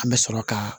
An bɛ sɔrɔ ka